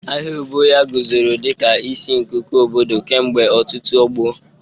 Ahịa Obohia guzoro dịka isi nkuku obodo kemgbe ọtụtụ ọgbọ.